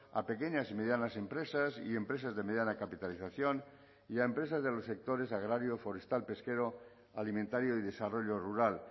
a pequeñas y medianas empresas y empresas de mediana capitalización y a empresas de los sectores agrario forestal pesquero alimentario y desarrollo rural